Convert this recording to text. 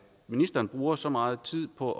ministeren bruger så meget tid på